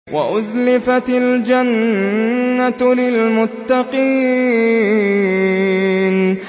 وَأُزْلِفَتِ الْجَنَّةُ لِلْمُتَّقِينَ